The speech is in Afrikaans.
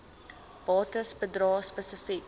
bates bedrae spesifiek